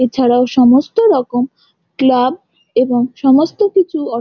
এছাড়া সমস্ত রকম ক্লাব এবং সমস্ত কিছু অ--